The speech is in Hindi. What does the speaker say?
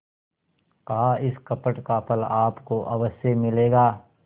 कहाइस कपट का फल आपको अवश्य मिलेगा